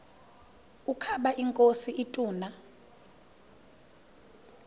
ukaba inkosi ituna